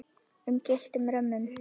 um gylltum römmum.